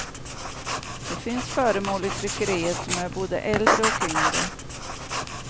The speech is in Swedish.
Det finns föremål i tryckeriet som är både äldre och yngre.